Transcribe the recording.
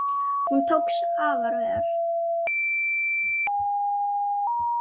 Hún tókst afar vel.